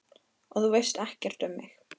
Og þú veist ekkert um mig